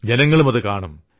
ജനങ്ങളും അതു കാണും